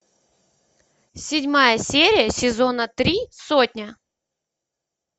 седьмая серия сезона три сотня